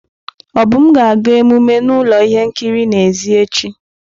Obum ga-aga emume na ụlọ ihe nkiri n'èzí echi.